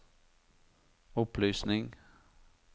opplysning